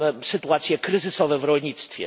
sytuacje kryzysowe w rolnictwie.